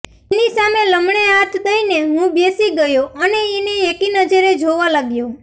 એની સામે લમણે હાથ દઈને હું બેસી ગયો અને એને એકીનજરે જોવા લાગ્યો